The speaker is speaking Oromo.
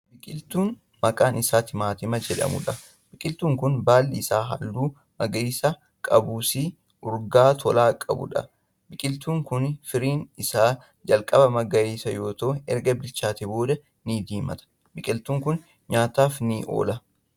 Biqiltuu maqaan Isaa timaatima jedhamuudha. biqiltuun kuni baalli Isaa halluu magariisa qabuusi urgaa tolaa qabuudha. biqiltuun Kuni firiin Isaa jalqaba magariisa yoo ta'u erga bilchaateen booda ni diiimata. biqiltuun kun nyaataaf ni oola.